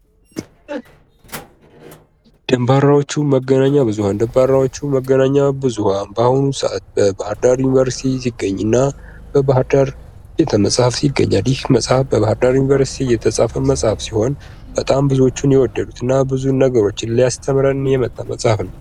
ደንባራዎቹ መገናኛ ብዙኃን:- ደንባራዎቹ መገናኛ ብዙኃን በአሁኑ ሰዓት በባህርዳር ዩኒቨርስቲ የሚገኝ እና በባህርዳር ቤተመፅሀፍት ይገኛል። ይህ ቤተመፅሐፍት በባህርዳር ዩኒቨርስቲ የተፃፈ መፅሐፍ ሲሆን በጣም ብዙዎቹ የወደዱት እና ብዙ ነገሮችን ሊያሰሰተምረን የመጣ መፅሐፍ ነዉ።